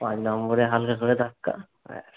পাঁচ number হালকা করে ধাক্কা। ব্যাস!